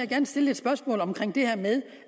gerne stille et spørgsmål om det her med